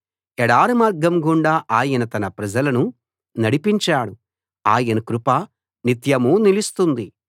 ఎడారి మార్గం గుండా ఆయన తన ప్రజలను నడిపించాడు ఆయన కృప నిత్యమూ నిలుస్తుంది